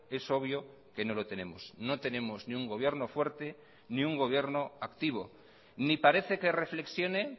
es obvio que no lo tenemos no tenemos ni un gobierno fuerte ni un gobierno activo ni parece que reflexione